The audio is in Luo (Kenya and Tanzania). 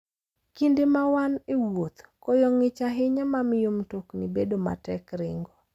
Kinde ma wan e wuoth, koyo ng'ich ahinya mamiyo mtokni bedo matek ringo.